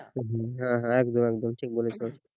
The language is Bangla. হম হ্যাঁ একদম একদম ঠিক বলেছ